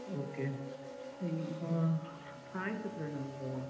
Okay ಹ್ಮ್ಮ್ ಹಾ ಆಯ್ತು ಪ್ರಣವ್.